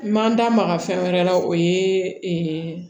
N man n da maga fɛn wɛrɛ la o ye